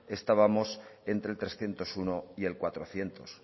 estábamos entre trescientos uno y el cuatrocientos